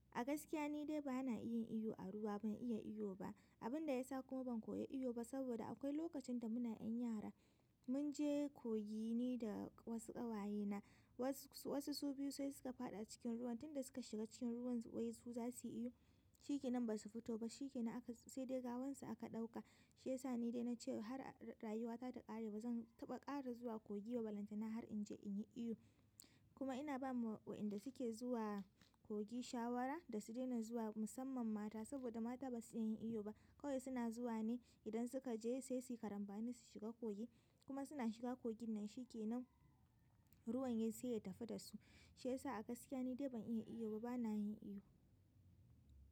A gaskiya ni dai ba na iya iyo a ruwa ban iya iyo ba. Abinda yasa kuma ban koyi iyo ba saboda akwai lokacin da muna 'yan yara munje kogi ni da wasu ƙawayena wasu su biyu sai suka faɗi a cikin ruwan tunda suka shiga cikin ruwan wai su za su yi iyo. Shi kenan ba su fito ba shi kenan sai dai gawansu aka ɗauka. Shi ya sa ni dai na ce har rayuwata ta ƙare ba zan taɓa ƙara zuwa kogi ba. Balantana har in je in yi iyo. Kuma ina ba wa wa'inda suke zuwa kogi shawara da su daina zuwa musamman mata saboda mata ba su iya yin iyo ba. Kawai suna zuwa ne idan suka je sai su yi karambani su shiga kogi kuma suna shiga kogin nan shi kenan ruwan yayi sai ya tafi da su. Shi ya sa a gaskiya ni dai ban iya iyo ba bana yin iyo.